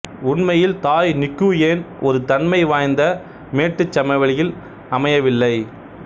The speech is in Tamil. உண்மையில் தாய் நிகுயேன் ஒருதன்மை வாய்ந்த மேட்டுச் சமவெளியில் அம்மையவில்லை